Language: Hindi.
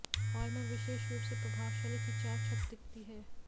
हॉल में विशेष रूप से प्रभावशाली खिंचाव छत दिखती है